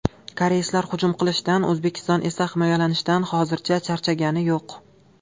Koreyslar hujum qilishdan O‘zbekiston esa himoyalanishdan hozircha charchagani yo‘q.